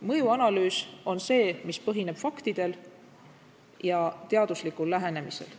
Mõjuanalüüs on analüüs, mis põhineb faktidel ja teaduslikul lähenemisel.